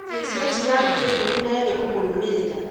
Jesu etire aruto ikũmi na erĩ kũmũrũmĩrĩra.